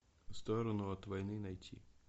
в сторону от войны найти